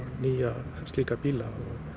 nýja slíka bíla